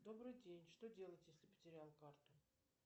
добрый день что делать если потерял карту